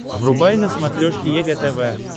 врубай на смотрешке егэ тв